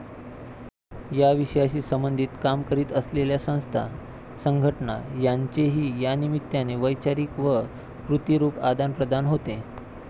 या विषयाशी सबंधित काम करीत असलेल्या संस्था, संघटना, यांचेही यानिमित्ताने वैचारीक व कृतिरूप आदानप्रदान होते.